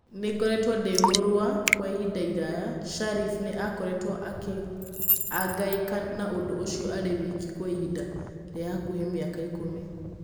Nĩ ngoretwo ndĩ mũrũa kwa ihinda iraya. Shareef nĩ aakoretwo akiangaĩka na ũndũ ũcio arĩ wiki kwa ihinda rĩa hakuhĩ mĩaka ikũmi.